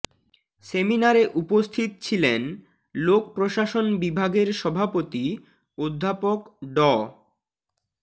সেমিনারে উপস্থিত ছিলেন লোক প্রশাসন বিভাগের সভাপতি অধ্যাপক ড